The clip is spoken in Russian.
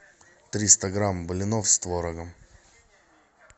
триста грамм блинов с творогом